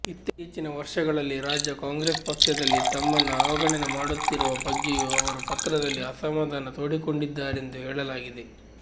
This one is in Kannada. ಇತ್ತೀಚಿನ ವರ್ಷಗಳಲ್ಲಿ ರಾಜ್ಯ ಕಾಂಗ್ರೆಸ್ ಪಕ್ಷದಲ್ಲಿ ತಮ್ಮನ್ನು ಅವಗಣನೆ ಮಾಡುತ್ತಿರುವ ಬಗ್ಗೆಯೂ ಅವರು ಪತ್ರದಲ್ಲಿ ಅಸಮಾಧಾನ ತೋಡಿಕೊಂಡಿದ್ದಾರೆಂದು ಹೇಳಲಾಗಿದೆ